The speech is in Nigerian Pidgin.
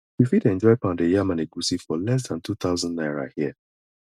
you fit enjoy pounded yam and egusi for less than two thousand naira here